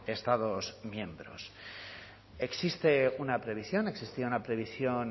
estados miembros existe una previsión existía una previsión